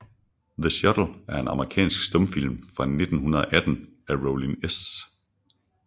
The Shuttle er en amerikansk stumfilm fra 1918 af Rollin S